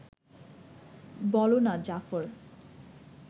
বোলো না, জাফর